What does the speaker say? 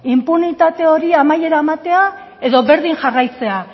inpunitate horri amaiera ematea edo berdin jarraitzea